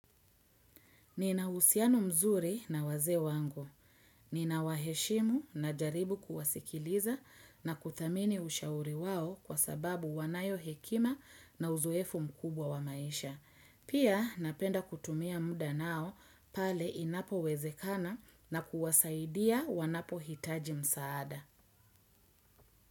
Nina usiano mzuri na wazee wangu. Nina waheshimu najaribu kuwasikiliza na kuthamini ushauri wao kwa sababu wanayo hekima na uzoefu mkubwa wa maisha. Pia napenda kutumia muda nao pale inapo wezekana na kuwasaidia wanapo hitaji msaada.